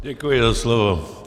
Děkuji za slovo.